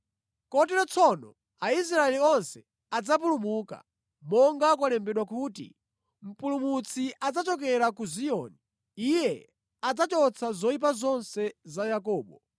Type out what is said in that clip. Kotero tsono Aisraeli onse adzapulumuka, monga kwalembedwa kuti, “Mpulumutsi adzachokera ku Ziyoni; Iye adzachotsa zoyipa zonse za Yakobo.